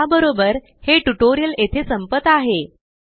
या बरोबर हे ट्यूटोरियल येथे संपत आहे